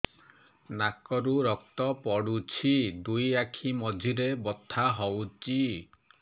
ନାକରୁ ରକ୍ତ ପଡୁଛି ଦୁଇ ଆଖି ମଝିରେ ବଥା ହଉଚି